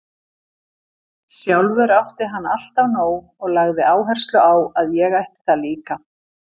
Sjálfur átti hann alltaf nóg og lagði áherslu á að ég ætti það líka.